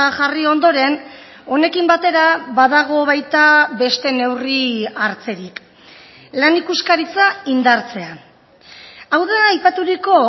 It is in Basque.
jarri ondoren honekin batera badago baita beste neurri hartzerik lan ikuskaritza indartzea hau da aipaturiko